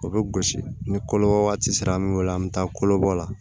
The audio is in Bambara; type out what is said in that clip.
O bɛ gosi ni kɔlɔbɔ waati sera an bɛ wolo an bɛ taa kolobɔ la